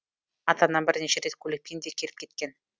ата анам бірнеше рет көлікпен де келіп кеткен